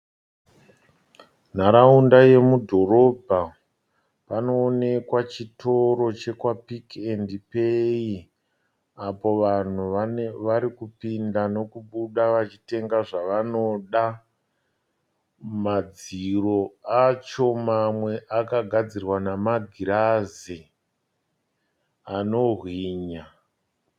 Nharaunda yemudhorobha panoonekwa chitoro chekwaPick n Pay apo vanhu varikupinda nokubuda vachitenga zvavanoda. Madziro acho mamwe akagadzirwa namagirazi anohwinya.